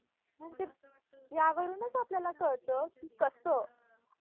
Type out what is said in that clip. यावरूनच आपल्याला कळतं, की कसं